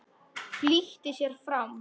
Flýtti sér fram.